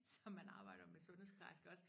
Som man arbejder med sundhedsplejerske også